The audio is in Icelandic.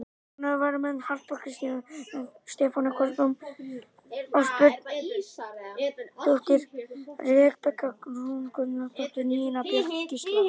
Ónotaðir varamenn: Harpa Kristín Björnsdóttir, Stefanía Kolbrún Ásbjörnsdóttir, Rebekka Rún Gunnlaugsdóttir, Nína Björk Gísladóttir.